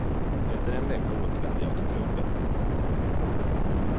Efter en vecka återvände jag till klubben.